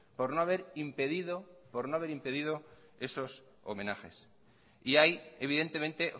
por no haber impedido esos homenajes y hay evidentemente